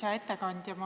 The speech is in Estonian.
Hea ettekandja!